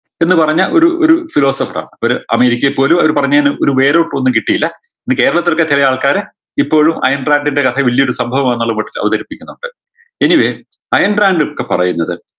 എന്ന് പറഞ്ഞ ഒരു ഒരു philosopher ആണ് അവര് അമേരിക്കയെ പോലു അവര് പറഞ്ഞേന് ഒരു where out ഒന്നും കിട്ടീല എനി കേരളത്തിലോക്കെ ചെലയാൾക്കാര് ഇപ്പോഴും അയൺ ഡ്രാങ്കിൻറെ കഥ വലിയൊരു സംഭവമാന്നുള്ളൊരു മട്ടിൽ അവതരിപ്പിക്കുന്നുണ്ട് anyway ആയാണ് ഡ്രാങ്കൊക്കെ പറയുന്നത്